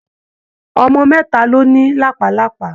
Ọmọ mẹ́ta ló ní làpálàpá.